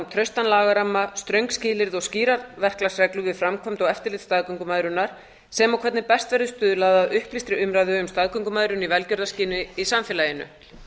traustan lagaramma ströng skilyrði og skýrar verklagsreglur við framkvæmd og eftirlit staðgöngumæðrunar sem og hvernig best verði stuðlað að upplýstri umræðu um staðgöngumæðrun í velgjörðarskyni í samfélaginu